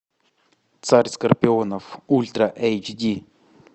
царь скорпионов ультра эйч ди